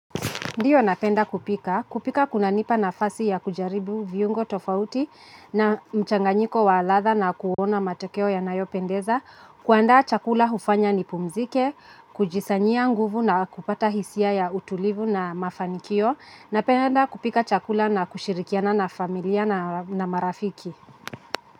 Ndiyo napenda kupika, kupika kunanipa nafasi ya kujaribu viungo tofauti na mchanganyiko wa latha na kuona matokeo yanayo pendeza, kuandaa chakula hufanya nipumzike, kujisanyia nguvu na kupata hisia ya utulivu na mafanikio, napenda kupika chakula na kushirikiana na familia na marafiki.